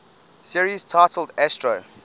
series titled astro